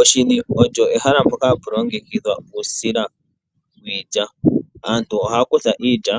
Oshini olyo ehala mpoka hapu longekidhwa uusila wiilya. Aantu ohaya kutha iilya